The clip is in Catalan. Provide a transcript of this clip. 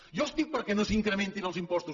jo estic perquè no s’incrementin els impostos